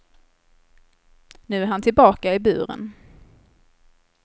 Nu är han tillbaka i buren.